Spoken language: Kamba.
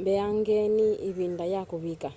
mbeangeni ivinda ya kuvika